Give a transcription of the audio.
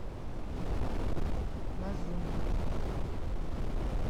лазунин